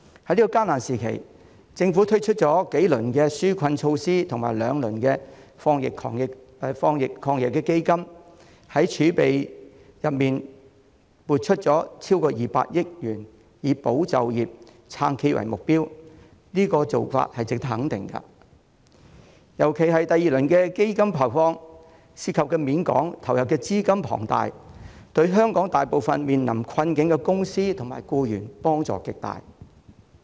在這個艱難時期，政府推出了數輪紓困措施和兩輪防疫抗疫基金，從儲備中撥出超過200億元，以保就業、撐企業為目標，做法值得肯定，尤其是第二輪基金的投放，涉及面廣、投入資金龐大，對香港大部分面臨困境的公司和僱員幫助極大。